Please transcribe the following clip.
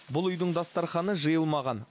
бұл үйдің дастарханы жиылмаған